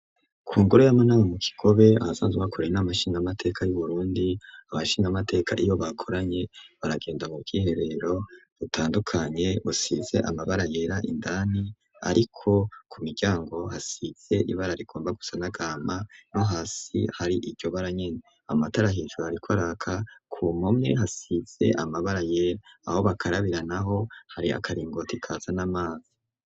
Ku ngore y'amanaba mu kikobe abasanzwe akoranye n'amashingamateka y'uburundi abashingamateka iyo bakoranye baragenda mu kwiherero butandukanye usize amabara yera indani, ariko ku miryango hasize ibara rikomba gusanagama no hasi hari iryo bara nyene amatara hijuru, ariko araka kumomwe hasize amabara yera aho bakarabira na ho hari akaringoti kaza n'amazi.